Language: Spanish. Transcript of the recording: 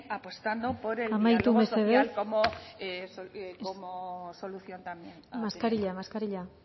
apostando por el diálogo social amaitu mesedez como solución también mascarilla mascarilla